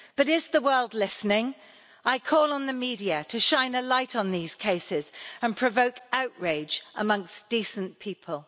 But is the world listening? I call on the media to shine a light on these cases and provoke outrage amongst decent people.